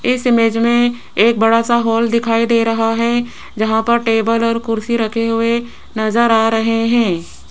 इस इमेज में एक बड़ा सा हॉल दिखाई दे रहा है जहां पर टेबल और कुर्सी रखे हुए नजर आ रहे हैं।